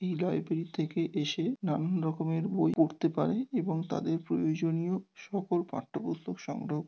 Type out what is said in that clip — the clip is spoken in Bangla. এই লাইব্রেরী থেকে এসে নানান রকমের বই পড়তে পারে এবং তাদের প্রয়োজনীয় সকল পাঠ্যপুস্তক সংগ্রহ --